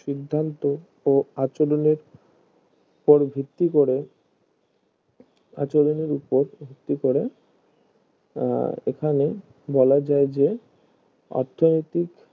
সিদ্ধান্ত ও আঁচড়েন উপর ভিত্তি করে আঁচড়েন উপর ভিত্তি করে আহ এখানে বলা যায় যে অর্থনীতিক